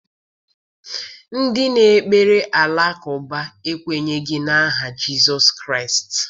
Ndị na-ekpere alakụba ekwenyeghị n’aha Jizọs Kraịst.